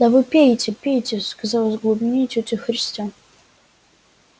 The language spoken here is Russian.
да вы пейте пейте сказала из глубины тётя христя